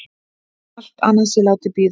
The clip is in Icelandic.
Allt annað sé látið bíða.